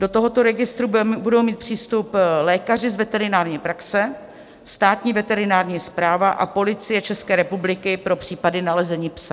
Do tohoto registru budou mít přístup lékaři z veterinární praxe, Státní veterinární správa a Policie České republiky pro případy nalezení psa.